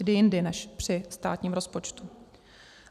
Kdy jindy než při státním rozpočtu?